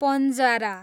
पन्जारा